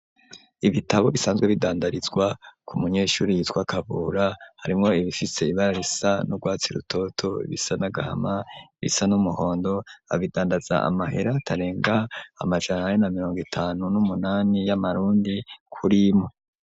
Ibitabo bisanzwe bidandarizwa ku munyeshuri yitwa kabura harimwo ibifise ibara risa n'urwatsi rutoto ibisa n'agahama ibisa n'umuhondo abidandaza amahera atarenga amajana ane na mirongo itanu n'umunani y'amarundi kurimwe.